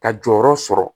Ka jɔyɔrɔ sɔrɔ